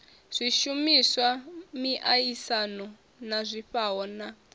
zwishumiswa miaisano na zwifhao na